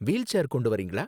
Wheel chair கொண்டு வர்றீங்களா?